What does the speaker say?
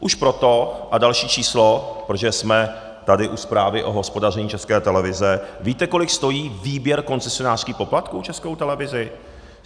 Už proto, a další číslo, protože jsme tady u zprávy o hospodaření České televize, víte, kolik stojí výběr koncesionářských poplatků Českou televizi?